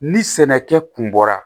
Ni sɛnɛkɛ kun bɔra